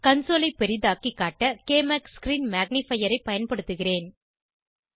console ஐ பெரிதாக்கி காட்ட க்மாக் ஸ்க்ரீன் மேக்னிஃபையர் ஐ பயன்படுத்துகிறேன்